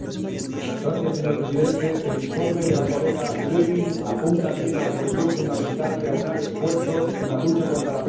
Señor Presidente, el informe de la colega Lövin apunta bien a la cuestión fundamental de aunar esfuerzos en la lucha contra la pesca ilegal.